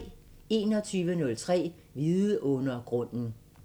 21:03: Vidundergrunden